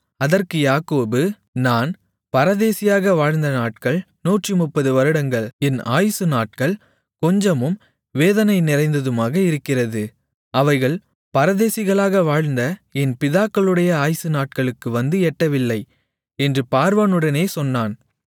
அதற்கு யாக்கோபு நான் பரதேசியாக வாழ்ந்த நாட்கள் 130 வருடங்கள் என் ஆயுசு நாட்கள் கொஞ்சமும் வேதனை நிறைந்ததுமாக இருக்கிறது அவைகள் பரதேசிகளாக வாழ்ந்த என் பிதாக்களுடைய ஆயுசு நாட்களுக்கு வந்து எட்டவில்லை என்று பார்வோனுடனே சொன்னான்